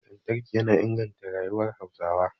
Lantarki yana inganta rayuwar Hausawa